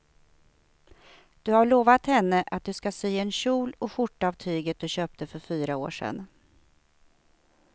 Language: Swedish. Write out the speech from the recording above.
Du har lovat henne att du ska sy en kjol och skjorta av tyget du köpte för fyra år sedan.